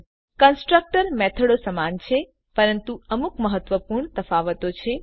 constructor મેથડો સમાન છે પરંતુ અમુક મહત્વપૂર્ણ તફાવતો છે